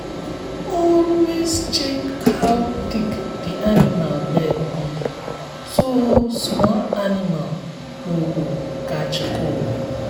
always check how thick the animal bed be so small animal no go catch cold.